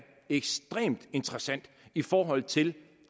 ekstremt interessant i forhold til